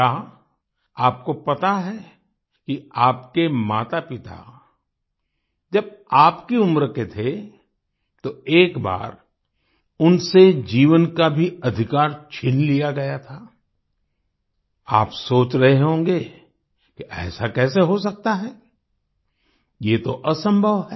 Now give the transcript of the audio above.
क्या आपको पता है कि आपके मातापिता जब आपकी उम्र के थे तो एक बार उनसे जीवन का भी अधिकार छीन लिया गया था आप सोच रहे होंगे कि ऐसा कैसे हो सकता है ये तो असंभव है